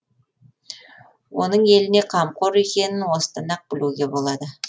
оның еліне қамқор екенің осыдан ақ білуге болады